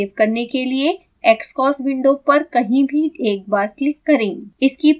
label को save करने के लिए xcos विंडो पर कहीं भी एक बार क्लिक करें